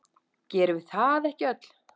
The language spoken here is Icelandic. Gerum við það ekki öll?